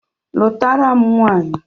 Lụtara m nwanyị!